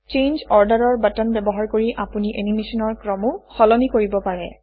change order button ব্যৱহাৰ কৰি আপুনি এনিমেচনৰ ক্ৰমো সলনি কৰিব পাৰে